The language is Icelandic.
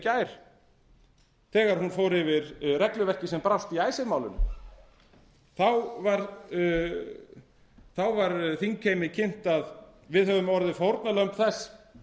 gær þegar hún fór yfir regluverkið sem brást í icesave málinu þá var þingheimi kynnt að við hefðum orðið fórnarlömb þess